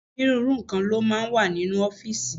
Onírúurú nǹkan ló máa ń wà nínú ọ́fíìsì.